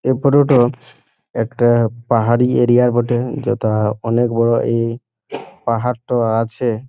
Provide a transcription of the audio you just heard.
এই ফটো টো একটা পাহাড়ি এরিয়া র বটে যেটা অনেক বড় এই পাহাড় টো আছে।